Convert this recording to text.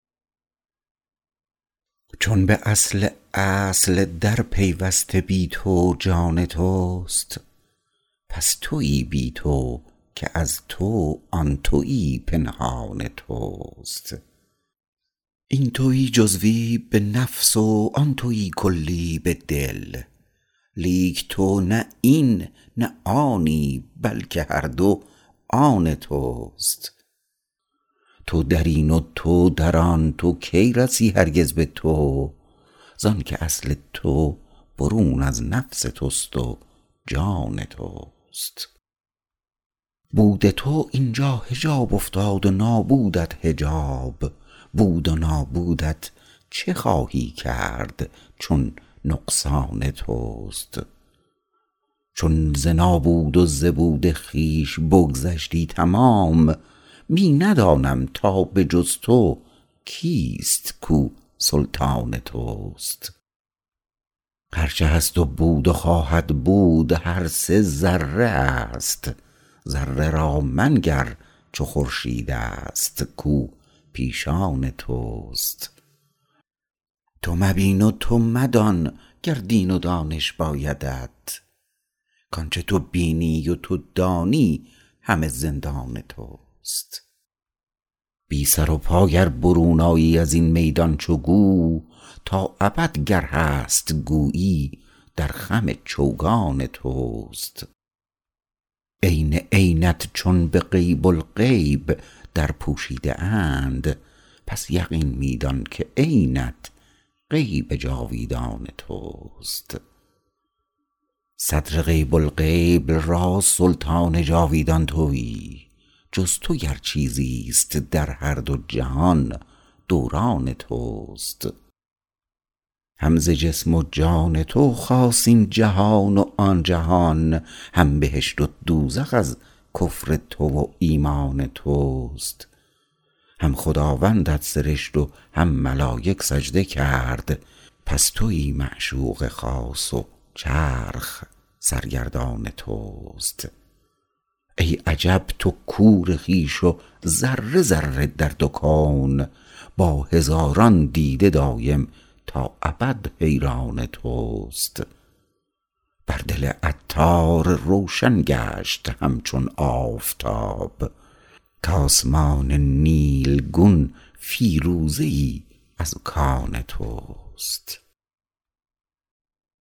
چون به اصل اصل در پیوسته بی تو جان توست پس تویی بی تو که از تو آن تویی پنهان توست این تویی جزوی به نفس و آن تویی کلی به دل لیک تو نه این نه آنی بلکه هر دو آن توست تو درین و تو در آن تو کی رسی هرگز به تو زانکه اصل تو برون از نفس توست و جان توست بود تو اینجا حجاب افتاد و نابودت حجاب بود و نابودت چه خواهی کرد چون نقصان توست چون ز نابود و ز بود خویش بگذشتی تمام می ندانم تا به جز تو کیست کو سلطان توست هر چه هست و بود و خواهد بود هر سه ذره است ذره را منگر چو خورشید است کو پیشان توست تو مبین و تو مدان گر دید و دانش بایدت کانچه تو بینی و تو دانی همه زندان توست بی سر و پا گر برون آیی ازین میدان چو گو تا ابد گر هست گویی در خم چوگان توست عین عینت چون به غیب الغیب در پوشیده اند پس یقین می دان که عینت غیب جاویدان توست صدر غیب الغیب را سلطان جاویدان تویی جز تو گر چیزی است در هر دو جهان دوران توست هم ز جسم و جان تو خاست این جهان و آن جهان هم بهشت و دوزخ از کفر تو و ایمان توست هم خداوندت سرشت و هم ملایک سجده کرد پس تویی معشوق خاص و چرخ سرگردان توست ای عجب تو کور خویش و ذره ذره در دو کون با هزاران دیده دایم تا ابد حیران توست بر دل عطار روشن گشت همچون آفتاب کاسمان نیلگون فیروزه ای از کان توست